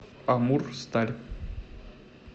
амурсталь